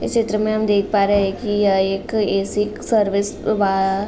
इस चित्र में हम दिख पा रहे हैं की यह एक ए.सी सर्विस बा।